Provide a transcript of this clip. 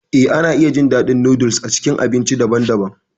Eh, ana iya jin daɗin noodles a cikin abinci daban-daban.